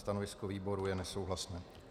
Stanovisko výboru je nesouhlasné.